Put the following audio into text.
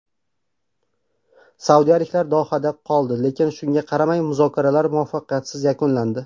Saudiyaliklar Dohada qoldi, lekin, shunga qaramay, muzokaralar muvaffaqiyatsiz yakunlandi.